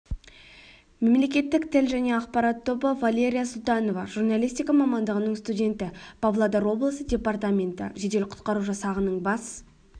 мемлекеттік тіл және ақпарат тобы валерия султанова журналистика мамандығының студенті павлодар облысы департаменті жедел-құтқару жасағының бас